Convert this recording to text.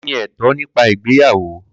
Kini eto nipa igbeyawo?